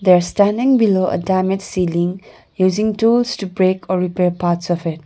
they are standing below a damaged ceiling using tools to break or repair parts of it.